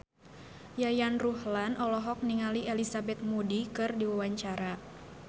Yayan Ruhlan olohok ningali Elizabeth Moody keur diwawancara